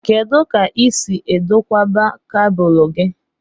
Kedụ ka i si edokwaba cabúlú gị?